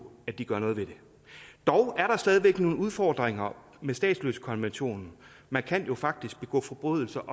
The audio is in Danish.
at de gør noget ved det dog er der stadig væk nogle udfordringer med statsløsekonventionen man kan jo faktisk begå forbrydelser